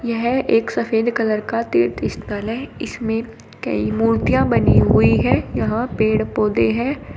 यह एक सफेद कलर का तीर्थ स्थल है इसमें कई मूर्तियां बनी हुई हैं यहां पेड़ पौधे हैं।